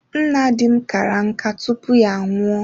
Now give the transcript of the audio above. Nna dim kara nkà tupu ya anwụọ.